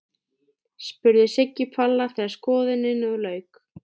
spurði Siggi Palli þegar skoðuninni lauk.